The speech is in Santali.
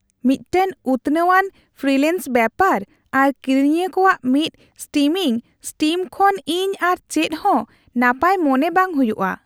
ᱢᱤᱫᱴᱟᱝ ᱩᱛᱱᱟᱹᱣ ᱟᱱ ᱯᱷᱨᱤᱞᱮᱱᱥ ᱵᱮᱯᱟᱨ ᱟᱨ ᱠᱤᱨᱤᱧᱤᱭᱟᱹ ᱠᱚᱣᱟᱜ ᱢᱤᱫ ᱥᱴᱤᱢᱤᱝ ᱥᱴᱤᱢ ᱠᱷᱚᱱ ᱤᱧ ᱟᱨ ᱪᱮᱫ ᱦᱚᱸ ᱱᱟᱯᱟᱭ ᱢᱚᱱᱮ ᱵᱟᱝ ᱦᱩᱭᱩᱜᱼᱟ ᱾